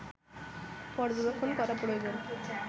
পর্যবেক্ষণ করা প্রয়োজন